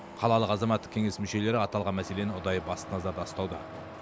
қалалық азаматтық кеңес мүшелері аталған мәселені ұдайы басты назарда ұстауда